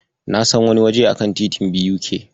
Na san wani waje a kan titin BUK.